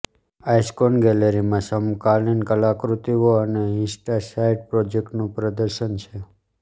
icon ગેલરીમાં સમકાલિન કલાકૃતિઓ અને ઇસ્ટસાઇડ પ્રોજેક્ટ્સનું પ્રદર્શન છે